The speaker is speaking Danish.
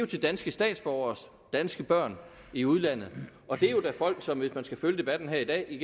til danske statsborgeres danske børn i udlandet og det er jo da folk som hvis man skal følge debatten her i dag i